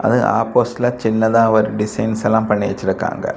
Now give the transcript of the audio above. அது ஆப்போசிட்ல சின்னதா ஒரு டிசைன்ஸ் எல்லாம் பண்ணி வச்சிருக்காங்க.